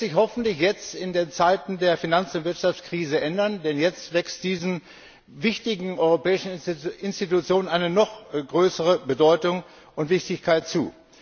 Das wird sich hoffentlich jetzt in den Zeiten der Finanz und Wirtschaftskrise ändern, denn jetzt wächst diesen wichtigen europäischen Institutionen eine noch größere Bedeutung und Wichtigkeit zu.